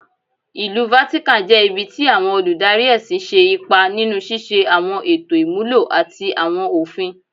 Ilu Vatican jẹ ibi ti awọn oludari ẹsin ṣe ipa ninu ṣiṣe awọn eto imulo ati awọn ofin